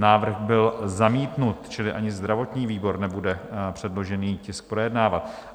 Návrh byl zamítnut, čili ani zdravotní výbor nebude předložený tisk projednávat.